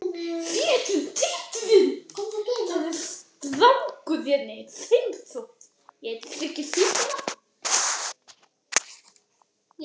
Þetta tilkynnti kjörstjórn Rúanda í dag